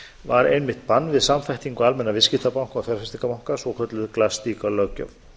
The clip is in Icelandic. var einmitt bann við samþættingu almennra viðskiptabanka og fjárfestingarbanka svokölluð glass steagall löggjöf